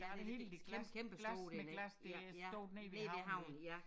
Der det hele det glas glas med glas det stod nede ved havnen